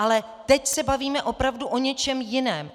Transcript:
Ale teď se bavíme opravdu o něčem jiném.